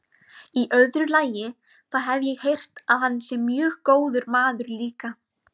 Í öðru lagi, þá hef ég heyrt að hann sé mjög góður maður líka.